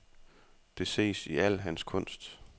Det ses i al hans kunst.